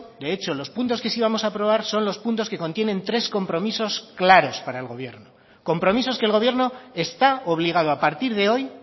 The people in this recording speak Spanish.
de hecho los puntos que sí vamos a aprobar son los puntos que contienen tres compromisos claros para el gobierno compromisos que el gobierno está obligado a partir de hoy